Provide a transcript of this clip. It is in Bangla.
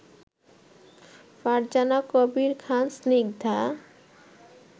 ফারজানা কবির খান স্নিগ্ধা